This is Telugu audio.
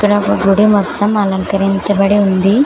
ఆ గుడి మొత్తం అలంకరించబడి ఉంది.